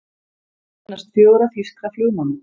Minnast fjögurra þýskra flugmanna